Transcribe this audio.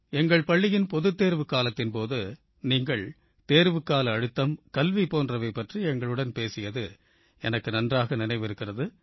எங்கள் பள்ளியின் பொதுத் தேர்வுக்காலத்தின் போது நீங்கள் தேர்வுக்கால அழுத்தம் கல்வி போன்றவை பற்றி எங்களுடன் பேசியது எனக்கு நன்றாக நினைவிருக்கிறது